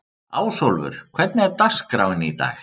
Ásólfur, hvernig er dagskráin í dag?